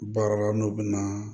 Baara la n'o bɛ na